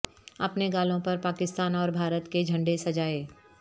اپنے گالوں پر پاکستان اور بھارت کے جھنڈے سجائے